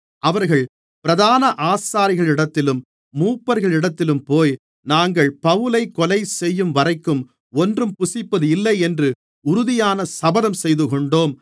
அவர்கள் பிரதான ஆசாரியர்களிடத்திலும் மூப்பர்களிடத்திலும்போய் நாங்கள் பவுலைக் கொலைசெய்யும்வரைக்கும் ஒன்றும் புசிப்பதில்லையென்று உறுதியான சபதம் செய்துகொண்டோம்